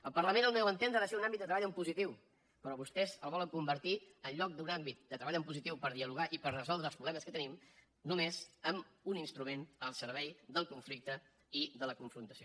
el parlament al meu entendre ha de ser un àmbit de treball en positiu però vostès el volen convertir en lloc d’un àmbit de treball en positiu per dialogar i per resoldre els problemes que tenim només en un instrument al servei del conflicte i de la confrontació